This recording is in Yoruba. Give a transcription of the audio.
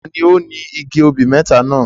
Ta ni ó ni igi obì mẹ́ta náà?